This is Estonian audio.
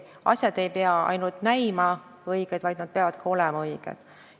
Asjad ei pea ainult näima õiged, vaid nad ka peavad olema õiged.